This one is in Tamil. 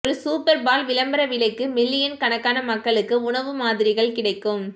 ஒரு சூப்பர்பால் விளம்பர விலைக்கு மில்லியன் கணக்கான மக்களுக்கு உணவு மாதிரிகள் கிடைக்கும்